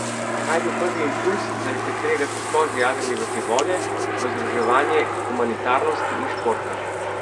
Kaj je bil prvi impulz, zaradi katerega ste sploh zajadrali v te vode, v združevanje humanitarnosti in športa?